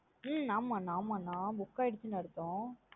உம் ஆமா ந ஆமா ந book ஆயருசுனு அர்த்தம்.